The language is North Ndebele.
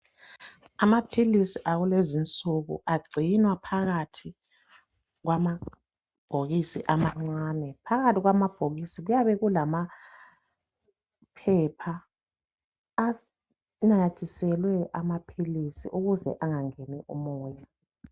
Amaphilisi akulezi nsuku agcinwa phakathi kwamabhokisi amancane phakathi kwamabhokisi kuyabe kulamaphepha anamathiselwe amaphilisi ukuze angangeni umoya.